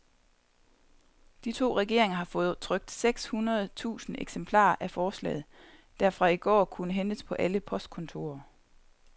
De to regeringer har fået trykt seks hundrede tusind eksemplarer af forslaget, der fra i går kunne hentes på alle postkontorer.